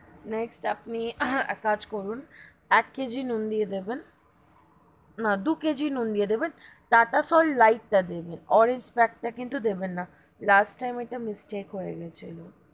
Next আপনি এক কাজ করুন এক KG নুন দিয়ে দেবেন না দু kg নুন দিয়ে দেবেন টাটা salt lite তা দেবেন orange pack তা কিন্তু দেবেন না last time ওটা mistake হয়ে গেছিলো,